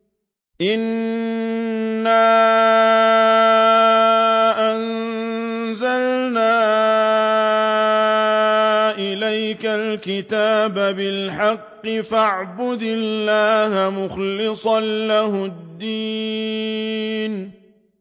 إِنَّا أَنزَلْنَا إِلَيْكَ الْكِتَابَ بِالْحَقِّ فَاعْبُدِ اللَّهَ مُخْلِصًا لَّهُ الدِّينَ